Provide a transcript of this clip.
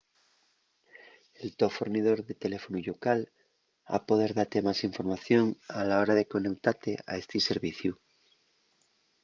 el to fornidor de teléfonu llocal ha poder date más información a la hora de coneutate a esti serviciu